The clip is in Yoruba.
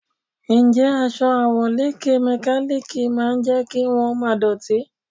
Ǹjẹ́ aṣọ àwọ̀lékè mẹkálíkì máa jẹ́ kí wón má dọ̀tí?